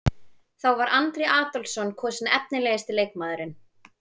Þá var Andri Adolphsson kosinn efnilegasti leikmaðurinn.